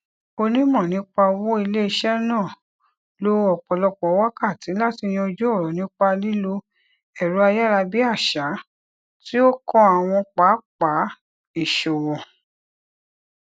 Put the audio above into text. onímọ nípa owó iléiṣẹ náà lo ọpọlọpọ wákàtí láti yanjú ọrọ nípa lílo ẹrọayárabíàṣá tí ó kan àwọn pápá ìṣòwò